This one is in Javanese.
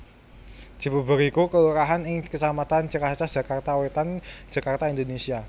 Cibubur iku kelurahan ing kecamatan Ciracas Jakarta Wétan Jakarta Indonésia